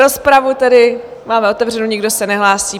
Rozpravu tedy máme otevřenou, nikdo se nehlásí.